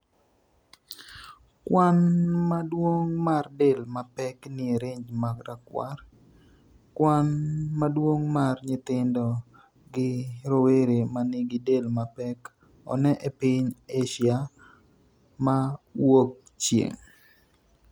kwan maduong' mar del mapek nie range marakwar. kwan maduong' mar nyithindo gi rowera manigi del mapek one e piny Asia ma Wuokchieng'